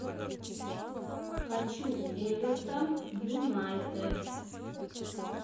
хочу эвертон юнайтед